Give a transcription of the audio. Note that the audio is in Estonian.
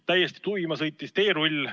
Täiesti tuima sõitis teerull.